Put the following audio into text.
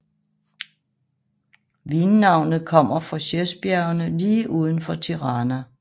Vinnavnet kommer fra Sheshbjergene lige uden for Tirana